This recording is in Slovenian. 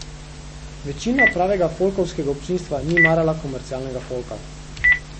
Večina pravega folkovskega občinstva ni marala komercialnega folka.